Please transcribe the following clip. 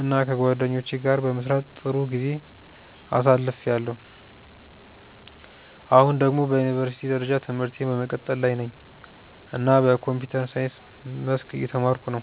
እና ከጓደኞቼ ጋር በመስራት ጥሩ ጊዜ አሳልፍያለሁ። አሁን ደግሞ በዩኒቨርሲቲ ደረጃ ትምህርቴን በመቀጠል ላይ ነኝ እና በኮምፒውተር ሳይንስ መስክ እየተማርኩ ነው።